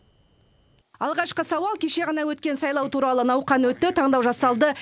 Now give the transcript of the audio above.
алғашқы сауал кеше ғана өткен сайлау туралы науқан өтті таңдау жасалды